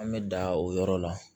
An bɛ da o yɔrɔ la